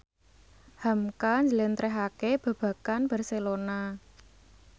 hamka njlentrehake babagan Barcelona